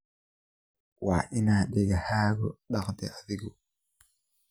Waa inaa dekahaku taqthy adigu.